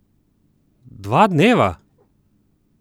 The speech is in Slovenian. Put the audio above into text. Dva dneva?